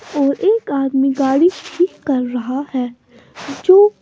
और एक आदमी गाड़ी ठीक कर रहा है जो --